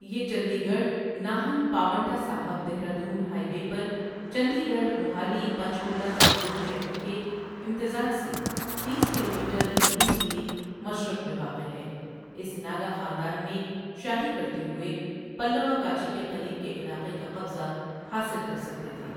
یہ Chandigarh Nahan Paonta Sahib Dehradun highway پر Chandigarh Mohali Panchkula تمدنی شہروں کے امتزاج سے تیس کلومیٹر انیس میل مشرق میں واقع ہے اس ناگا خاندان میں شادی کرتے ہوئے، پلّوا کانچی کے قریب کے علاقے کا قبضہ حاصل کر سکتے تھے۔